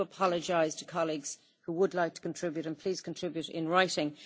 I apologise to colleagues who would like to contribute, so please contribute in writing.